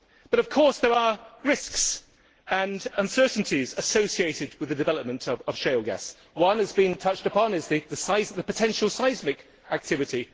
But of course there are risks and uncertainties associated with the development of shale gas. One that has been touched upon is the size of the potential seismic activity.